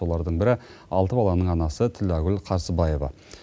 солардың бірі алты баланың анасы тілләгүл қарсыбаева